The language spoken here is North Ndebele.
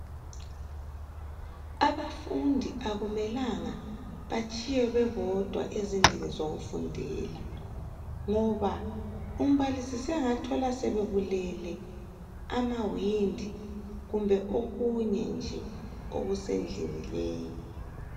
Abafundi akumelanga batshiywe bebodwa ezindlini zokufundela, ngoba umbalisi sengathola sebebulele amawindi kumbe okunye nje okusendlini leyo .